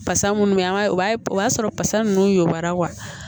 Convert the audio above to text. Basa munnu be an ga o y'a sɔrɔ basa nunnu y'ora